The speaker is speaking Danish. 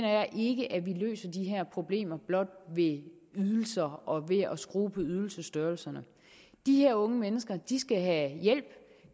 løser de her problemer ved ydelser og ved blot at skrue på ydelsesstørrelserne de her unge mennesker skal have hjælp